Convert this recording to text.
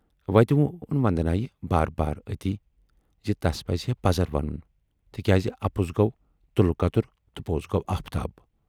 وتہِ وون وندنایہِ بار بار اَتی زِ تَس پَزہے پَزر ونُن تِکیازِ اَپُز گَو تُلہٕ کَتُر تہٕ پوز گَو آفتاب۔